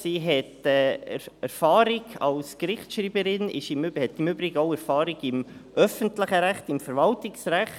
Sie hat Erfahrung als Gerichtsschreiberin und im Übrigen auch im öffentlichen Recht, im Verwaltungsrecht.